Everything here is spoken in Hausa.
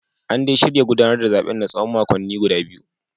An dai shirya gudanar da zaben na tsawon makonni biyu